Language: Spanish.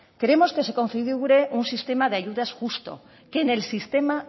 queremos que se configure un sistema de ayudas justo que en el sistema